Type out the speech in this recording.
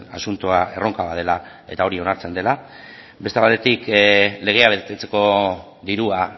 asuntoa erronka bat dela eta hori onartzen dela beste batetik legea betetzeko dirua